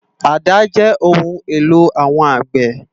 Àdá jè óoùn éló áwòn ágbè